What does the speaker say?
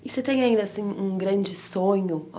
E você tem ainda assim um grande sonho?